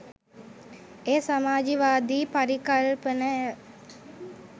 එය සමාජවාදී පරිකල්පනය